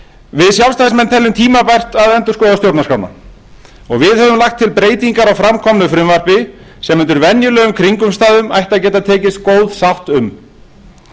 við sjálfstæðismenn teljum tímabært að endurskoða stjórnarskrána og við höfum lagt fram breytingar á framkomnu frumvarpi sem undir venjulegum kringumstæðum ættu að geta tekist góð sátt um